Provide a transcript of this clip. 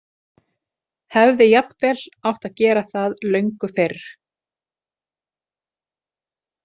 Hefði jafnvel átt að gera það löngu fyrr.